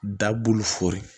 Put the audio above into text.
Dabuluforo